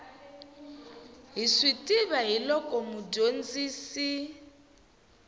hi swi tiva hiloko mudyondzisi